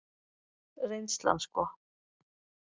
Reynslan sko.